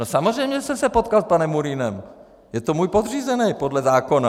No samozřejmě jsem se potkal s panem Murínem, je to můj podřízený podle zákona.